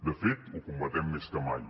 de fet ho combaten més que mai